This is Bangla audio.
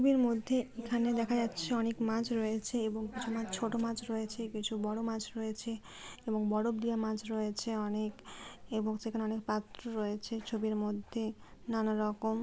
মধ্যে এখানে দেখা যাচ্ছে অনেক মাছ রয়েছে এবং কিছু মাছ ছোট মাছ রয়েছে কিছু বড় মাছ রয়েছে এবং বরফ দেওয়া মাছ রয়েছে অনেক এবং সেখানে অনেক পাত্র রয়েছে। ছবির মধ্যে নানা রকম--